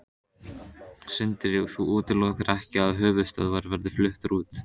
Sindri: Þú útilokar ekki að höfuðstöðvar verði fluttar út?